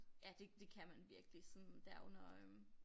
Ja det det kan man virkelig sådan der under øh